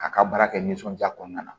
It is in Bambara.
A ka baara kɛ nisɔndiya kɔnɔna na